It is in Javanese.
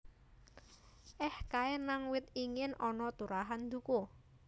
Eh kae nang wit igin ana turahan duku